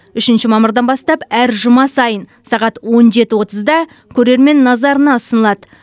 үшінші мамырдан бастап әр жұма сайын сағат он жеті отызда көрермен назарына ұсынылады